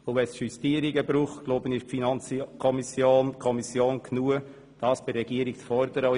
Wenn es Justierungen brauchen sollte, wäre die FiKo stark genug, diese von der Regierung einzufordern.